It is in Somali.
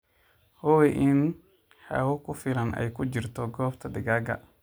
Hubi in hawo ku filan ay ku jirto goobta digaaga.